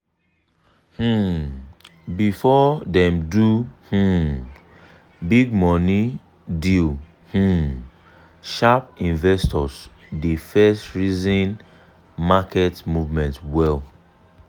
um before dem do um big money deal um sharp investors dey first reason market movement well.